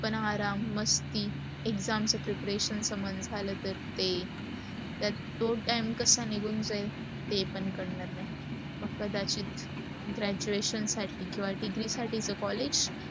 आराम, मस्ती, exams च preparations झालं तर ते त्यात तो time कस निघून जाईल ते पण कळणार नाही. मग कदाचित graduation साठी किवा degree साठीच collage